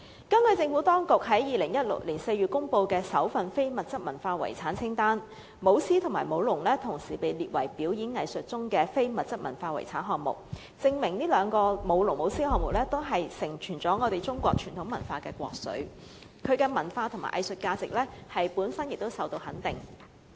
根據政府當局在2014年6月公布的首份非物質文化遺產清單，"舞獅"和"舞龍"同時被列為"表演藝術"中的非物質文化遺產項目，證明"舞龍"和"舞獅"項目也是承傳中國傳統文化的國粹的活動，其文化和藝術價值本身亦受到肯定。